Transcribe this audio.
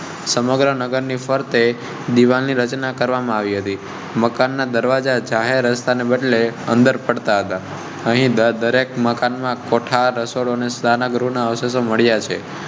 સમગ્ર નગરની ફરતે દીવાલ ની રચના કરવામાં આવી હતી. મકાન ના દરવાજા. અહીં દરેક મકાન માં કોઠાર અસરો ને સુધારગૃહ ના અવશેષો મળ્યા છે.